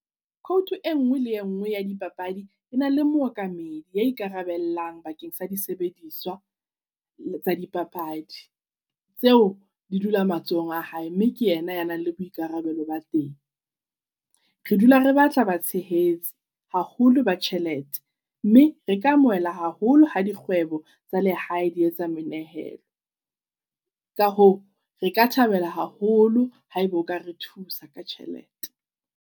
Quote e ngwe le e ngwe ya dipapadi ena le mookamedi ya ikarabellang bakeng sa disebediswa tsa dipapadi. Tseo di dula matsohong a hae mme ke yena ya nang le boikarabelo ba teng. Re dula re batla ba tshehetse haholo ba tjhelete, mme reka amohela haholo ha dikgwebo tsa lehae di etsa menehelo. Ka hoo reka thabela haholo ha eba okare thusa ka tjhelete.